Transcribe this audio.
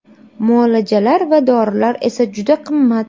Muolajalar va dorilar esa juda qimmat.